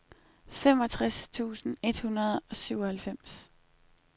femogtres tusind et hundrede og syvoghalvfems